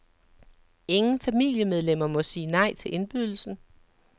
Ingen familiemedlemmer må sige nej til indbydelsen.